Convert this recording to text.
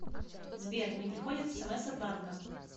сбер не приходят смс от банка